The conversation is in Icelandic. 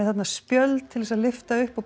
spjöld til að lyfta upp og